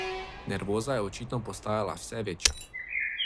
Nervoza je očitno postajala vse večja.